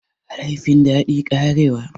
Ai laifin daɗi, karewa.